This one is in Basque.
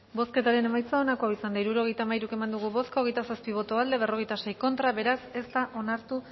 bozketaren emaitza onako izan da hirurogeita hamairu eman dugu bozka hogeita zazpi boto aldekoa cuarenta y seis contra beraz ez da onartu